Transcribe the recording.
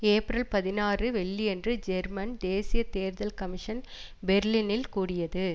April பதினாறு வெள்ளியன்று German தேசிய தேர்தல் கமிஷன் பெர்லினில் கூடியது